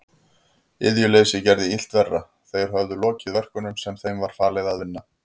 Iðjuleysið gerði illt verra, þeir höfðu lokið verkunum sem þeim var falið að vinna.